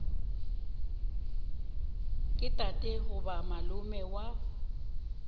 ke tate goba malome wa